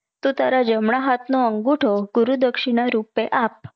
તો તારા જમણા હાત નો અંગુઠો ગુરુ દક્ષિણા રૂપે આપ